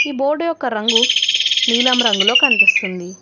ఈ బోర్డు యొక్క రంగు నీలం రంగులో కనిపిస్తుంది.